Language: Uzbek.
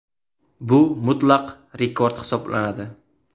Bu mutlaq rekord hisoblanadi.